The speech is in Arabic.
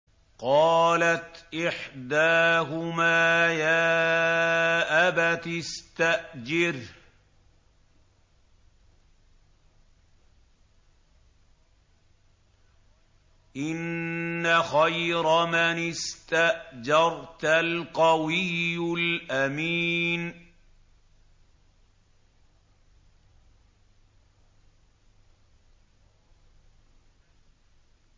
قَالَتْ إِحْدَاهُمَا يَا أَبَتِ اسْتَأْجِرْهُ ۖ إِنَّ خَيْرَ مَنِ اسْتَأْجَرْتَ الْقَوِيُّ الْأَمِينُ